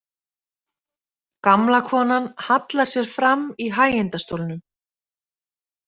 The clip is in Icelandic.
Gamla konan hallar sér fram í hægindastólnum.